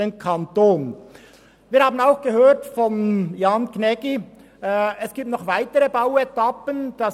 Auch haben wir von Jan Gnägi gehört, dass es noch weitere Bauetappen gibt.